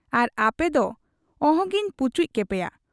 ᱟᱨ ᱟᱯᱮ ᱫᱚ ᱚᱦᱚᱜᱮᱧ ᱯᱩᱪᱩᱡ ᱠᱮᱯᱮᱭᱟ ᱾